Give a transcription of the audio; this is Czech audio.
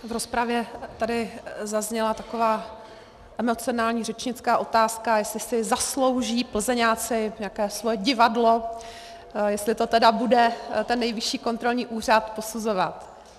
V rozpravě tady zazněla taková emocionální řečnická otázka, jestli si zaslouží Plzeňáci nějaké svoje divadlo, jestli to tedy bude ten Nejvyšší kontrolní úřad posuzovat.